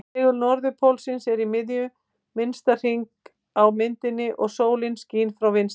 Segul-norðurpóllinn er í miðju minnsta hringsins á myndinni og sólin skín frá vinstri.